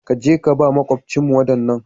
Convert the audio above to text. Ka je ka ba maƙwabcinmu waɗannan.